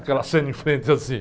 Aquela cena em frente assim.